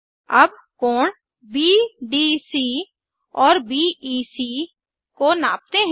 अब कोण बीडीसी और बीईसी को नापते हैं